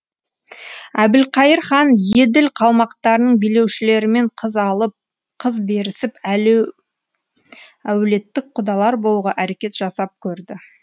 әбілқайыр хан еділ қалмақтарының билеушілерімен қыз алып қыз берісіп әулеттік құдалар болуға әрекет жасап көрді